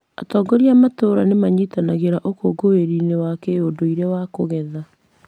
Atongoria a matũũra nĩ manyitanagĩra ũkũngũĩri-inĩ wa kĩũndũire wa kũgetha.